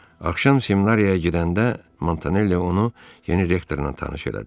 Axşam seminariyaya gedəndə Montanelli onu yeni rektorla tanış elədi.